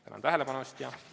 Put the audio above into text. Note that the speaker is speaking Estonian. Tänan tähelepanu eest!